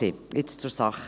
Jetzt zur Sache: